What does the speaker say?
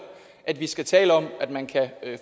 at vi skal tale om at man kan